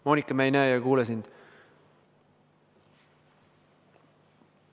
Moonika, me ei näe ega kuule sind.